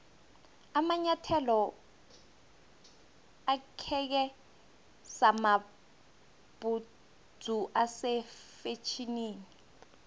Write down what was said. amanyathelo akheke samabhudzu ase fetjhenini